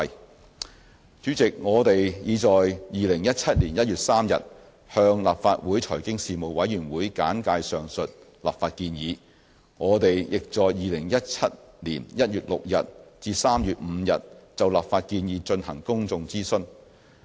代理主席，我們已在2017年1月3日向立法會財經事務委員會簡介上述立法建議，亦在2017年1月6日至3月5日就立法建議進行公眾諮詢。